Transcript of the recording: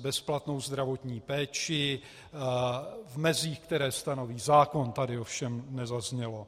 bezplatnou zdravotní péči - v mezích, které stanoví zákon, tady ovšem nezaznělo.